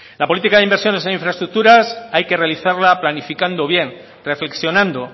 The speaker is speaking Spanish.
la política de inversiones en infraestructuras hay que realizarla planificando bien reflexionando